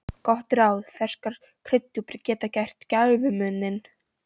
Gott ráð: Ferskar kryddjurtir geta gert gæfumuninn.